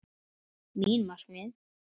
Mín markmið?